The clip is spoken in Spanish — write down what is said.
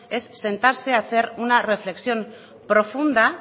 es sentarse a hacer una reflexión profunda